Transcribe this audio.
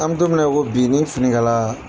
An bɛ don min na i ko bi n'i ye fini kala.